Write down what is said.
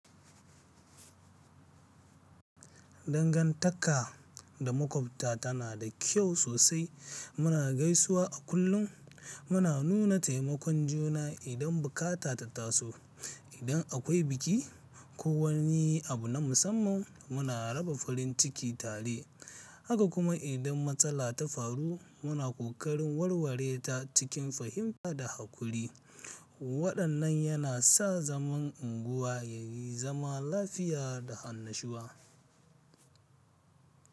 Dangantaka da maƙwabta tana da kyau sosai. Muna gaisuwa a kullum, muna nuna taimakon juna idan bukata ta taso. Idan akwai biki ko wani abu na musamman, muna raba farin ciki tare. Haka kuma idan matsala ta faru, muna ƙoƙarin warware ta cikin fahimta da haƙuri. Waɗannan yana sa zaman unguwa ya yi zama lafiya da annashuwa.